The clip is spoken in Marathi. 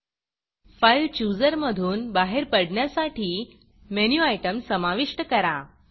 फाइल Chooserफाइलचुजर मधून बाहेर पडण्यासाठी मेनू आयटम समाविष्ट करा